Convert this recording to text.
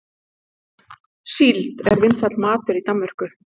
Síld er vinsæll matur í Danmörku.